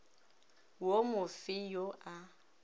wo mo fe yo a